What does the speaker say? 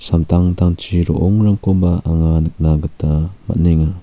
amtangtangchi ro·ongrangkoba anga nikna gita man·enga.